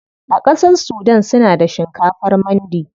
A ƙasar sudan suna da shinkafar mandi.